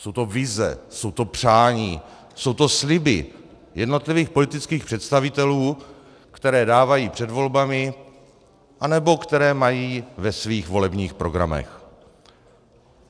Jsou to vize, jsou to přání, jsou to sliby jednotlivých politických představitelů, které dávají před volbami anebo které mají ve svých volebních programech.